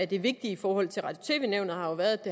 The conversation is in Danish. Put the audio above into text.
det vigtige i forhold til radio og tv nævnet har været at det